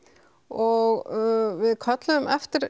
og við köllum eftir